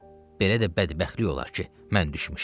Belə də bədbəxtlik olar ki, mən düşmüşəm?